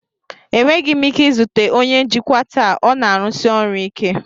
Enweghị m ike izute onye njikwa taa, ọ na-arụsi ọrụ ike.